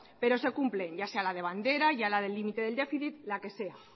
pero se cumplen ya sea la de bandera ya la del límite del déficit la que sea